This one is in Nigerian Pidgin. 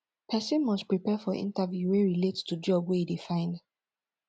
persin must prepare for interview wey relate to job wey e de find